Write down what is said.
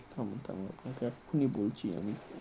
থামুন থামুন । এখনই বলছি আমি